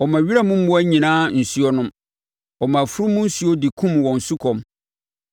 Ɔma wiram mmoa nyinaa nsuo nom; ɔma afunumu nsuo de kum wɔn sukɔm.